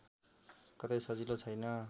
कतै सजिलो छैन्